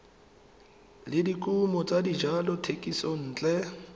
le dikumo tsa dijalo thekisontle